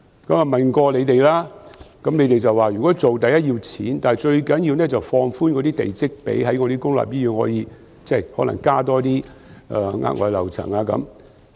我問過當局，當局說如果要做，第一要錢，但最重要的是放寬地積比率，可以在公立醫院加建額外樓層。